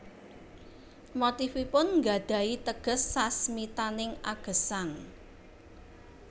Motifipun nggadhahi teges sasmitaning agesang